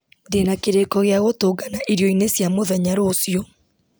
ndĩna kĩrĩko gĩa gũtũngana irio-inĩ cia mũthenya rũciũ